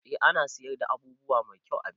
A ana siyar da abubuwa mai kyau a birni